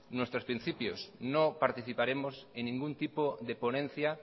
nuestros principios no participaremos en ningún tipo de ponencia